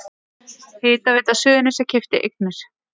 Hitaveita Suðurnesja keypti eignir